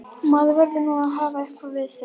Maður verður nú að hafa eitthvað við sig!